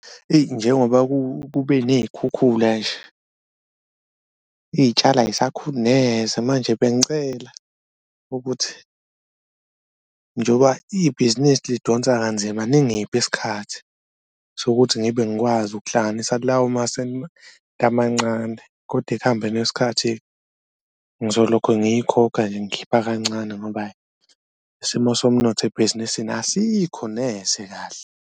Eyi njengoba kube ney'khukhula nje iy'tshalo ayisakhuli neze. Manje bengicela ukuthi njoba ibhizinisi lidonsa kanzima, ningiphe isikhathi sokuthi ngibe ngikwazi ukuhlanganisa kulawo amancane, koda ekuhambeni kwesikhathi ngizolokhe ngiyikhokha nje ngikhipha kancane ngoba ayi isimo somnotho ebhizinisini asikho neze kahle.